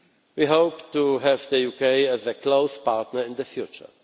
We hope to have the UK as a close partner in the future.